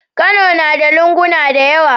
Kano nada lunguna dayawa